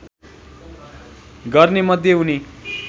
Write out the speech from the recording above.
गर्ने मध्ये उनी